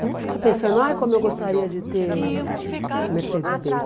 Não vamos ficar pensando, ah, como eu gostaria de ter o Mercedes-Benz.